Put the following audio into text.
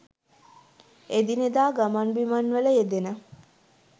එදිනෙදා ගමන් බිමන්වල යෙදෙන